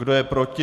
Kdo je proti?